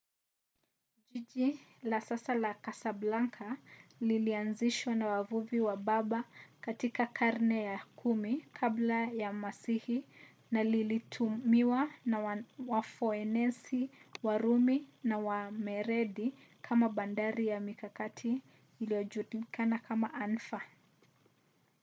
jiji la sasa la kasablanka lilianzishwa na wavuvi wa berber katika karne ya 10 kabla ya masihi na lilitumiwa na wafoenisi warumi na wamerenidi kama bandari ya mikakati iliyojulikana kama anfa